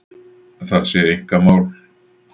Það sé einkamál